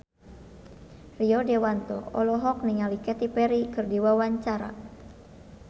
Rio Dewanto olohok ningali Katy Perry keur diwawancara